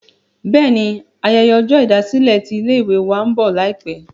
bẹ́ẹ̀ni, ayẹyẹ ọjọ́ ìdásílẹ̀ tí ilé ìwé wa ń bọ̀ láìpẹ̀